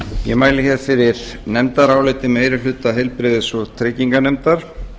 ég mæli hér fyrir nefndaráliti meiri hluta heilbrigðis og trygginganefndar